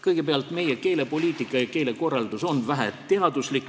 Kõigepealt, meie keelepoliitika ja keelekorraldus on väheteaduslik.